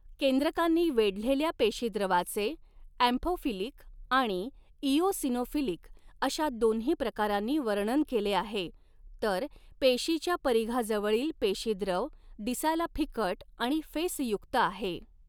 केंद्रकांनी वेढलेल्या पेशीद्रवाचे, ॲम्फोफिलिक आणि इओसिनोफिलिक अशा दोन्ही प्रकारांनी वर्णन केले आहे, तर पेशीच्या परिघाजवळील पेशीद्रव, दिसायला फिकट आणि फेसयुक्त आहे.